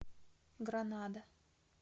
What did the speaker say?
гранада